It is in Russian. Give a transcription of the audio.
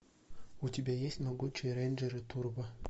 у тебя есть могучие рейнджеры турбо